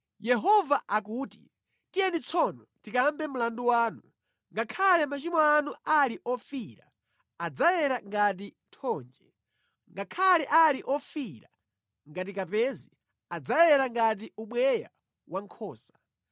Yehova akuti, “Tiyeni tsono tikambe mlandu wanu. Ngakhale machimo anu ali ofiira, adzayera ngati thonje. Ngakhale ali ofiira ngati kapezi, adzayera ngati ubweya wankhosa.